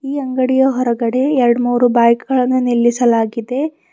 ಈ ಅಂಗಡಿಯ ಹೊರಗಡೆ ಎರಡ್ಮೂರು ಬೈಕ್ ಗಳನ್ನು ನಿಲ್ಲಿಸಲಾಗಿದೆ.